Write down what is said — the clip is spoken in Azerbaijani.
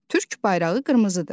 Türk bayrağı qırmızıdır.